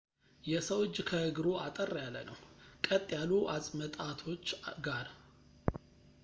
የሰው እጅ ከእግሩ አጠር ያለ ነው ቀጥ ካሉ አፅመጣቶች ጋር